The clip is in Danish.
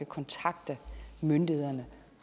kontakte myndighederne